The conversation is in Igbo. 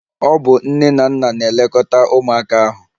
Ọ bụ nne na nna na-elekọta ụmụaka ahụ.